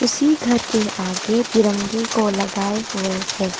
उसी घर के आगे तिरंगे को लगाए हुए हैं।